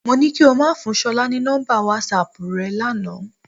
Mo ní kí o máa fún Ṣọlá ní nọ́mbà wásaàpù rẹ lánàá.